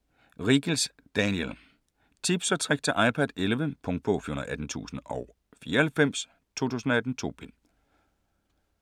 Riegels, Daniel: Tips & tricks til iPad 11 Punktbog 418094 2018. 2 bind.